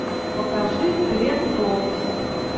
покажи гленн клоуз